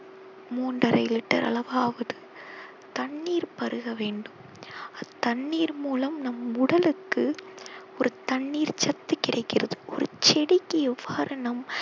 மூன்றரை liter அளவாவது தண்ணீர் பருகவேண்டும் தண்ணீர் மூலம் நம் உடலுக்கு ஒரு தண்ணீர் சத்து கிடைக்கிறது ஒரு செடிக்கு எவ்வாறு நம்